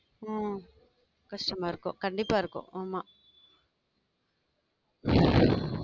உம் கஷ்டமா இருக்கும் கண்டிப்பா இருக்கும் ஆமாம்